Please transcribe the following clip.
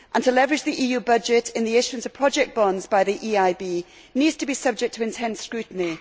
To leverage the EU budget in the issuance of project bonds by the EIB needs to be subject to intense scrutiny.